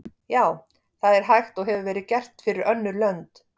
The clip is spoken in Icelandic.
Já, það er hægt og hefur verið gert fyrir önnur lönd.